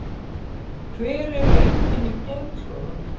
Hver eru einkenni geðklofa?